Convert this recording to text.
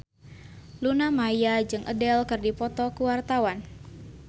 Luna Maya jeung Adele keur dipoto ku wartawan